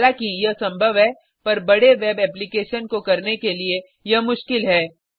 हालाँकि यह संभव है पर बड़े वेब एप्लीकेशन को करने के लिए यह मुश्किल है